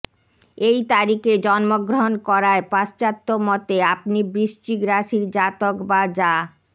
এই তারিখে জন্মগ্রহণ করায় পাশ্চাত্যমতে আপনি বৃশ্চিক রাশির জাতক বা জা